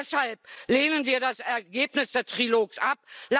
Und deshalb lehnen wir das Ergebnis des Trilogs